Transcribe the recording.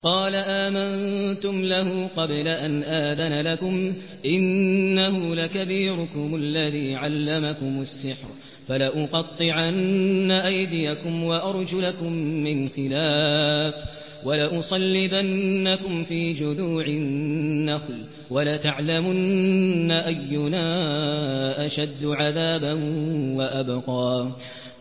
قَالَ آمَنتُمْ لَهُ قَبْلَ أَنْ آذَنَ لَكُمْ ۖ إِنَّهُ لَكَبِيرُكُمُ الَّذِي عَلَّمَكُمُ السِّحْرَ ۖ فَلَأُقَطِّعَنَّ أَيْدِيَكُمْ وَأَرْجُلَكُم مِّنْ خِلَافٍ وَلَأُصَلِّبَنَّكُمْ فِي جُذُوعِ النَّخْلِ وَلَتَعْلَمُنَّ أَيُّنَا أَشَدُّ عَذَابًا وَأَبْقَىٰ